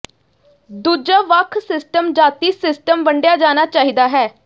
ਦੂਜਾ ਵੱਖ ਸਿਸਟਮ ਜਾਤੀ ਸਿਸਟਮ ਵੰਿਡਆ ਜਾਣਾ ਚਾਹੀਦਾ ਹੈ